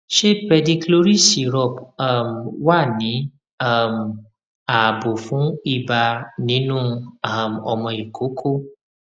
ṣé pedicloryl syrup um wà ní um ààbò fún ibà nínú um ọmọ ìkókó